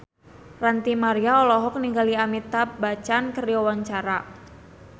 Ranty Maria olohok ningali Amitabh Bachchan keur diwawancara